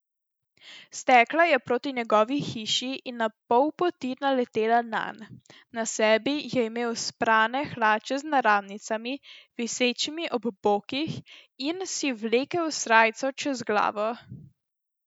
Stekla je proti njegovi hiši in na pol poti naletela nanj, na sebi je imel sprane hlače z naramnicami, visečimi ob bokih, in si vlekel srajco čez glavo.